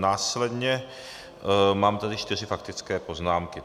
Následně mám tady čtyři faktické poznámky.